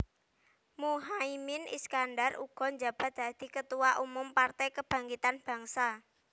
Muhaimin Iskandar uga njabat dadi Ketua Umum Partai Kebangkitan Bangsa